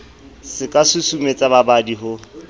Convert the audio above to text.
se ka susumetsang babadi ho